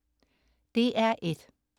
DR1: